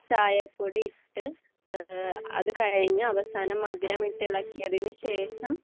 അത് കഴിഞ്ഞു അവസാനം മധുരമിട്ടു ഇളക്കിയതിനു ശേഷം